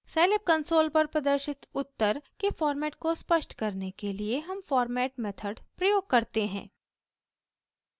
scilab console पर प्रदर्शित उत्तर के फॉर्मेट को स्पष्ट करने के लिए हम फॉर्मेट मेथड प्रयोग करते हैं